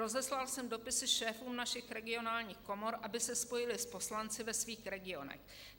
Rozeslal jsem dopisy šéfům našich regionálních komor, aby se spojili s poslanci ve svých regionech.